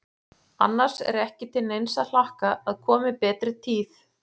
Annars er ekki til neins að hlakka að komi betri tíð.